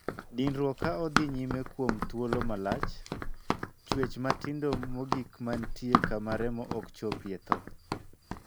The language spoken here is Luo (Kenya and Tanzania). Dinruok ka odhi nyime kuom thuolo malach, chuech matindo mogikmatie kama remo ok chopie thoo.